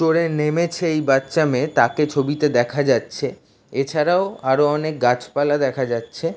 তোরে নেমেছে এই বাচ্চা মেয়ে তাকে ছবিতে দেখা যাচ্ছেএছাড়াও আরো অনেক গাছপালা দেখা যাচ্ছে |